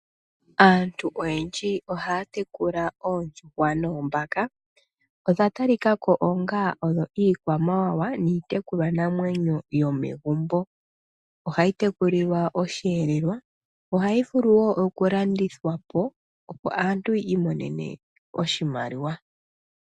Aantu oyendji ohaya tekula oondjuhwa noombaka. Odha tali ka ko onga odho iikwamamwa niitekulwa namwenyo yomegumbo. Ohayi tekulilwa osheelelwa , yo ohayi vulu wo oku landithwa po, opo aantu ya imonene oshimaliwa.